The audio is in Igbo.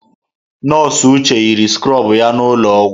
Nọọsụ Uche yiri skrobụ ya n'ụlọọgwụ.